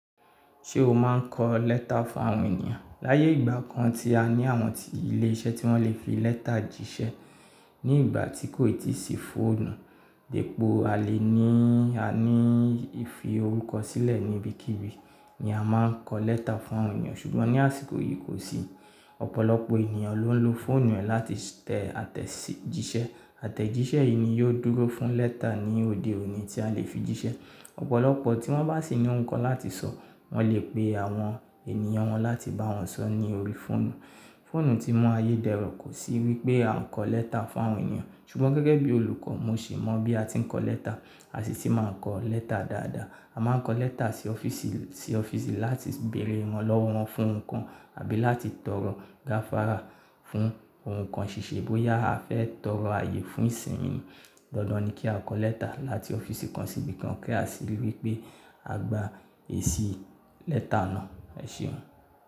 Ṣé o máa ń kọ lẹ́tà fún àwọn ènìyàn? Láyé ìgbà kan tí a ní àwọn ilé iṣẹ́ tí wọ́n lè fi lẹ́tà jíṣẹ́ ní ìgbà tí kò ì tí sí fóònù, dípò à lè ní a ní ìfi orúkọ sílẹ̀ níbí kíbi ni a máà ń kọ lẹ́tà fún àwọn ènìyàn ṣùgbọ́n ní àsìkò yìí kò sí, ọ̀pọ̀lọpọ̀ ènìyàn ló ń lo fóònù e láti tẹ̀ àtẹ̀jíṣẹ́. Àtẹ̀jíṣẹ́ yìí ni yóò dúró fún lẹ́tà ní òde òní tí a lè fi jíṣẹ́. Ọ̀pọ̀lọpọ̀ tí wọ́n bá sì ní ohun kan láti sọ wọ́n lè pe àwọn ènìyàn wọn láti bá wọn sọ ní orí fóònù. Fóònù ti mú ayé dẹrọ̀ kò sì wípé a ń kọ lẹ́tà fún àwọn ènìyàn ṣùgbọ́n gẹ́gẹ́ bí olùkọ́ mo sì mọ̀ bí a ti ń kọ lẹ́tà, a sì ti máa ń kọ lẹ́tà dáadáa. A máa ń kọ lẹ́tà sí ọ́fíìsì, sí ọ́fíìsì láti bèrè wọn iranlọ́wọ́ wọn fún ohun kan àbí láti tọrọ gáfárà fún ohun kan ṣíṣe bóyá a fẹ́ tọrọ ààyè fún ìsinmi. Dandan ni kí a kọ lẹ́tà láti ọ́fíìsì kan síbi kan kí a sì rí wípé a gba èsì lẹ́tà náà. Ẹ ṣeun.